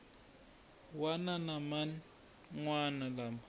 wana na man wana lama